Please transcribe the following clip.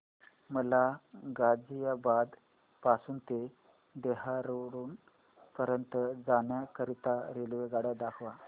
मला गाझियाबाद पासून ते देहराडून पर्यंत जाण्या करीता रेल्वेगाडी दाखवा